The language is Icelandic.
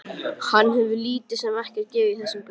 Hann hefur lítið sem ekkert gefið þessu gaum.